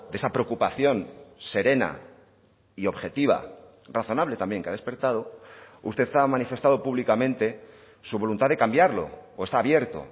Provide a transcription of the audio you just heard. esa preocupación serena y objetiva razonable también que ha despertado usted ha manifestado públicamente su voluntad de cambiarlo o está abierto